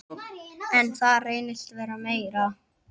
En það reynist vera meira.